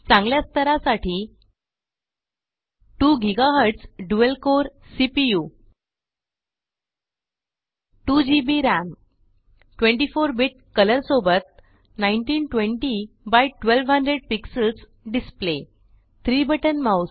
चांगल्या स्तरासाठी 2 GHz dual core CPU 2 GB RAM 24 bit colour सोबत 1920 x 1200 px display 3 button mouse